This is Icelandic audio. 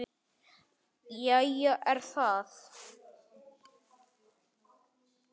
Jæja er það.